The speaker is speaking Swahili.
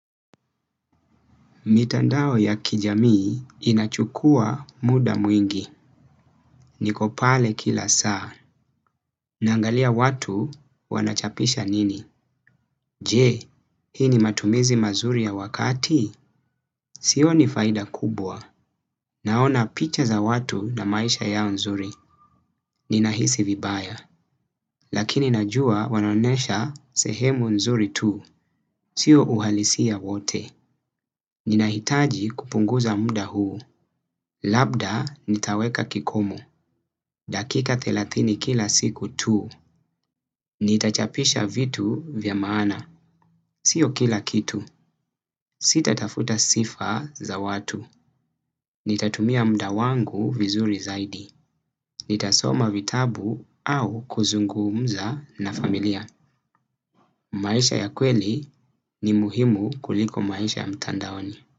Mitandao ya kijamii inachukua muda mwingi. Nikopale kila saa. Nangalia watu wanachapisha nini? Je, hii ni matumizi mazuri ya wakati? Sioni faida kubwa. Naona picha za watu na maisha yao nzuri. Nina hisi vibaya. Lakini najua wanaonesha sehemu nzuri tu. Sio uhalisia wote. Nina hitaji kupunguza muda huu. Labda nitaweka kikomo. Dakika thelathini kila siku tu. Nitachapisha vitu vya maana. Sio kila kitu. Sita tafuta sifa za watu. Nitatumia muda wangu vizuri zaidi. Nitasoma vitabu au kuzungumza na familia. Maisha ya kweli ni muhimu kuliko maisha ya mtandaoni.